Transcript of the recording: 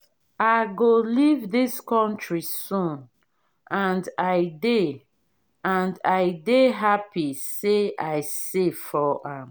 i go leave dis country soon and i dey and i dey happy say i save for am